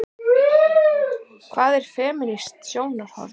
Hvað er femínískt sjónarhorn?